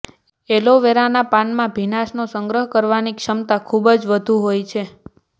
એલોવેરાના પાનમાં ભીનાશનો સંગ્રહ કરવાની ક્ષમતા ખૂબ જ વધુ હોય છે